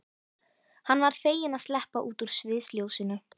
Hann var feginn að sleppa út úr sviðsljósinu.